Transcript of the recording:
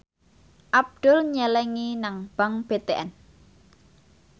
Abdul nyelengi nang bank BTN